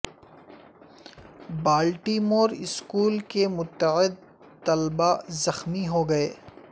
بالٹی مور اسکول کے متعد د طلباء زخمی ہوگئے